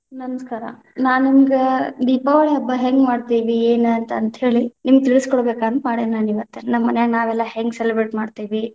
ನಮಸ್ಕಾರ, ನಾನ್‌ ನಿಮ್ಗ ದೀಪಾವಳಿ ಹಬ್ಬ ಹೆಂಗ ಮಾಡ್ತೀವಿ, ಏನ ಅಂತ ಅಂತ್ಹೇಳಿ, ನಿಮ್ಗ ತಿಳಸಕೊಡಬೇಕ ಅಂತ ಮಾಡೀನಿ ನಾನ್‌ ಇವತ್ತ, ನಮ್ಮ ಮನ್ಯಾಗ ನಾವೆಲ್ಲಾ ಹೆಂಗ celebrate ಮಾಡ್ತೀವಿ.